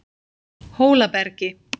Hólabergi